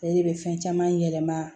Ale de bɛ fɛn caman